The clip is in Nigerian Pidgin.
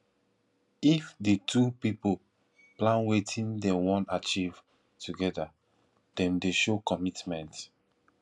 if di two pipo plan wetin dem won achieve together dem de show commitment